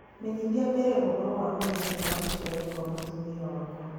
menyithia mbere ũhoro wa mũthenya wa gũciarwo kwa mũtumia wakwa